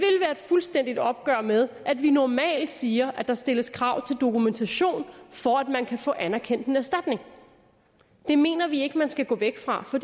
fuldstændigt opgør med at vi normalt siger at der stilles krav til dokumentation for at man kan få anerkendt en erstatning det mener vi ikke man skal gå væk fra for